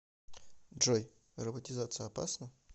джой роботизация опасна